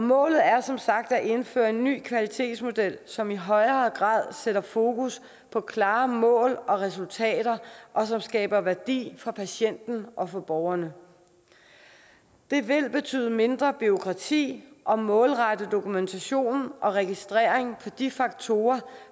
målet er som sagt at indføre en ny kvalitetsmodel som i højere grad sætter fokus på klare mål og resultater og som skaber værdi for patienten og for borgerne det vil betyde mindre bureaukrati og målrettet dokumentation og registrering af de faktorer